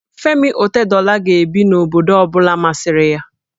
Femi Otedola ga-ebi n'obodo ọ bụla masịrị ya